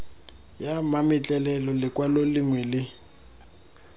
ya mametlelelo lekwalo lengwe le